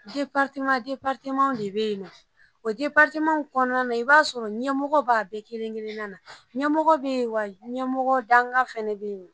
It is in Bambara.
de bɛ yen o kɔnɔna na i b'a sɔrɔ ɲɛmɔgɔ b'a bɛɛ kelen kelen na, ɲɛmɔgɔ bɛ yen wa ɲɛmɔgɔ danga fana bɛ yen.